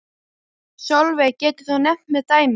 Sólveig: Getur þú nefnt mér dæmi?